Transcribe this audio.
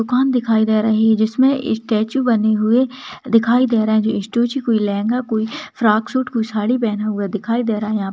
दुकान दिखाई दे रही है जिसमें स्टैचू बनी हुई दिखाई दे रही हैं यह स्टैचू कोइ लहंगे कोई फ्रॉक सूट कोई साड़ी पहना हुआ दिखाई दे रहा है यहाँ।